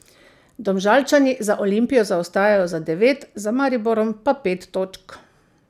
Domžalčani za Olimpijo zaostajajo za devet, za Mariborom pa pet točk.